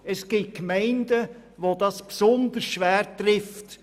Es gibt Gemeinden, welche das besonders schwer trifft.